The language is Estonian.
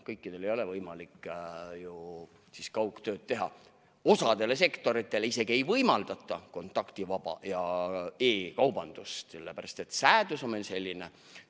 Kõikidel ei ole võimalik ju kaugtööd teha, osale sektoritele isegi ei võimaldata kontaktivaba tööd ja e-kaubandust, sellepärast et seadus on meil selline.